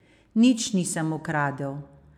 Nič nisem ukradel.